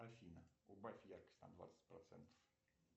афина убавь яркость на двадцать процентов